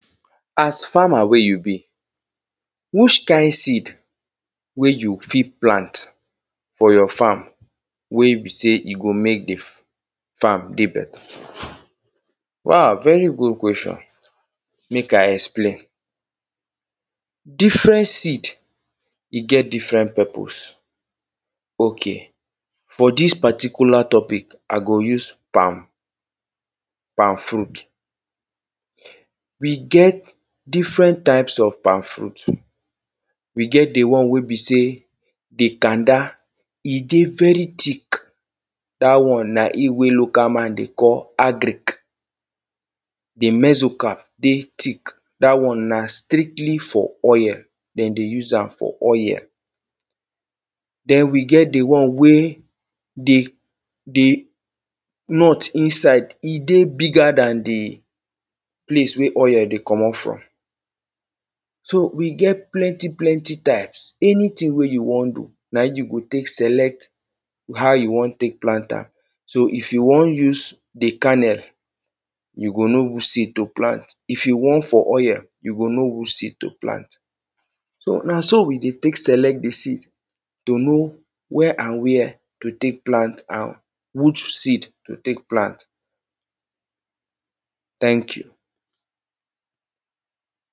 As farmer wey you be, which kind seed wey you fit plant for your farm wey be say e go mek the farm dey beta? Wow! very good question. Mek I explain, different seed, e get different purpose. Okay.For dis particular topic, I go use palm palm fruit. We get different types of palm fruit, we get the one wey be say the kada e dey very thick. Dat one na im local man dey call agric. The mesoka dey thick. Dat one na strictly for oil them dey use am for, oil. Then, we get the one wey the.the nut inside, e dey bigger than the place wey oil dey commot from. So, we get plenty, plenty types, anything wey you wan do, na you go tek select how you wan tek plant am. So, if you wan use the kernel, you go know which seed to plant, if you want for oil, you go know which seed to plant. So, na so we dey tek select the seed to know when and where to tek plant am, which seed to tek plant. Thank you!